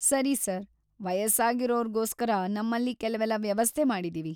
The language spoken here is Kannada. ಸರಿ ಸರ್‌, ವಯಸ್ಸಾಗಿರೋರ್ಗೋಸ್ಕರ ನಮ್ಮಲ್ಲಿ ಕೆಲ್ವೆಲ್ಲ ವ್ಯವಸ್ಥೆ ಮಾಡಿದೀವಿ.